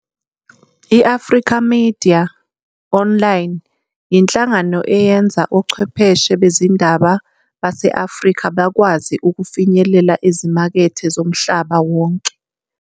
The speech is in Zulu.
I-Africa Media Online yinhlangano eyenza ochwepheshe bezindaba base-Afrika bakwazi ukufinyelela ezimakethe zomhlaba wonke.